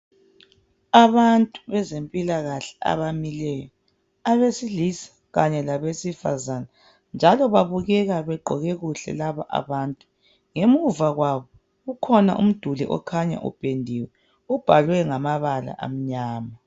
Abantu bezempilakahle abamileyo. Abesilisa kanye labesifazana. Njalo babukeka begqoke kuhle laba abantu. Ngemuva kwabo kukhona umduli okhanya upendiwe. Ubhalwe ngamabala amnyama.